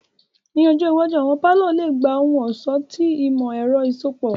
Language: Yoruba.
Ni ọjọ iwaju, awọn palọ le gba ohun-ọṣọ ti imọ-ẹrọ iṣọpọ.